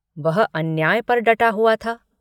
वह अन्याय पर डटा हुआ था।